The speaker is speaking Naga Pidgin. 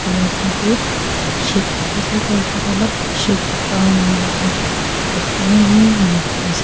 toi lah oshor teh sheep dikhi se toi etu alop sheep farming khan thakibo na ki enoka bhabhi se.